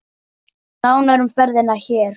Nánar um ferðina hér.